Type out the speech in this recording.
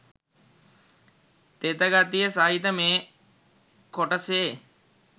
තෙත ගතිය සහිත මේ කොටසේ